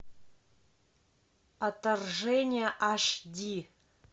отторжение аш ди